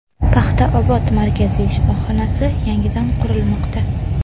Paxtaobod markaziy shifoxonasi yangidan qurilmoqda.